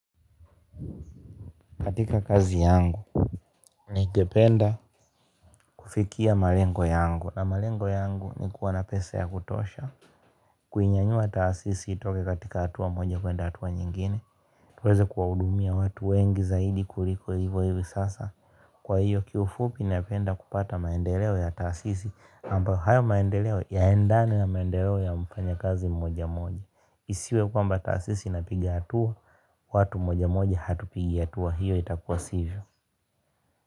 Katika kazi yangu ningependa kufikia malengo yangu, na malengo yangu ni kuwa na pesa za kutosha. Kuinyanyua taasisi itoke katika hatua moja kwenda hatua nyingine. Tuweze kuwahudumia watu wengi zaidi kuliko hivo hivi sasa. Kwa hiyo kiufupi napenda kupata maendeleo ya taasisi, ambayo hayo maendeleo yanaendana na maendeleo ya mfanyakazi mmoja mmoja, isiwe kwamba taasisi inapiga hatua. Watu mmoja mmoja hatupigi hatua, hiyo itakuwa sivyo.